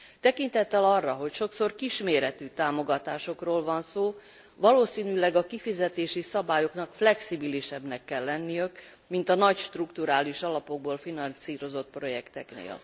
Tekintettel arra, hogy sokszor kisméretű támogatásokról van szó, valószínűleg a kifizetési szabályoknak flexibilisebbnek kell lenniük, mint a nagy strukturális alapokból finanszírozott projekteknél.